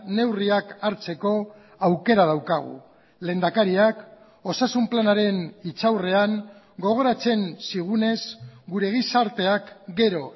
neurriak hartzeko aukera daukagu lehendakariak osasun planaren hitzaurrean gogoratzen zigunez gure gizarteak gero